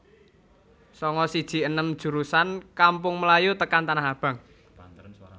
Sanga siji enem jurusan Kampung Melayu tekan Tanah Abang